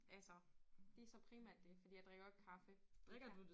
Altså det så primært det fordi jeg drikker jo ikke kaffe det kan